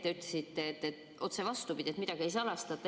Te ütlesite, et otse vastupidi, et midagi ei salastata.